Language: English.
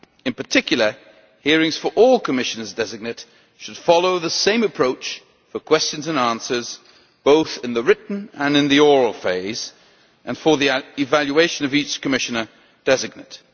In particular, hearings for all Commissioners designate should follow the same approach for questions and answers, both in the written and in the oral phase, and for the evaluation of each Commissioner designate.